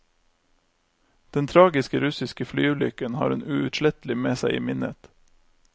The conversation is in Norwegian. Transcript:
Den tragiske russiske flyulykken har hun uutslettelig med seg i minnet.